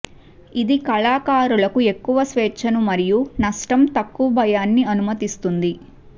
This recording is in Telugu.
ఇది కళాకారులకు ఎక్కువ స్వేచ్ఛను మరియు నష్టం తక్కువ భయాన్ని అనుమతిస్తుంది